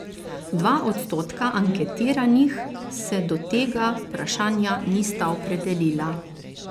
Dva odstotka anketiranih se do tega vprašanja nista opredelila.